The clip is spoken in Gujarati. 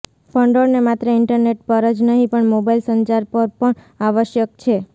ભંડોળને માત્ર ઇન્ટરનેટ પર જ નહીં પણ મોબાઇલ સંચાર પર પણ આવશ્યક છે